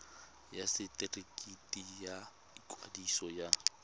ya setefikeiti sa ikwadiso ya